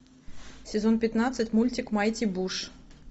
сезон пятнадцать мультик майти буш